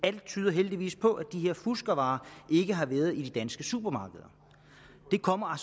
alt tyder heldigvis på at de her fuskevarer ikke har været i danske supermarkeder det kommer